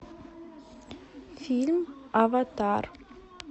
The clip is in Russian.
фильм аватар